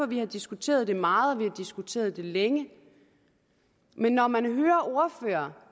vi har diskuteret det meget og at vi har diskuteret det længe når man hører